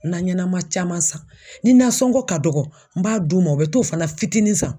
Na ɲɛnama caman san, ni nasɔngɔ ka dɔgɔ n b'a d'u ma u bɛ t'o fana fitinin san.